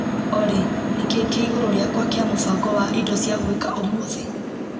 Olĩ nĩkĩĩ kĩ igũrũ rĩakwa kĩa mũbango wa indo cia gwĩka ũmũthĩ.